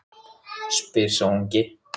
spyr sá ungi.